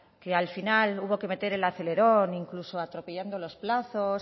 que la final hubo que meter el acelerón incluso atropellando los plazos